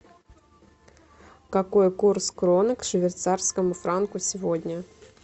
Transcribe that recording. какой курс кроны к швейцарскому франку сегодня